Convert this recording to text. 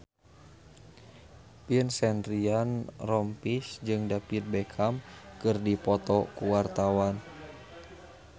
Vincent Ryan Rompies jeung David Beckham keur dipoto ku wartawan